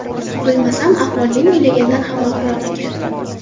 Bilsam, ahvol men o‘ylagandan ham og‘irroq ekan.